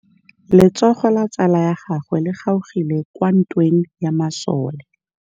Letsôgô la tsala ya gagwe le kgaogile kwa ntweng ya masole.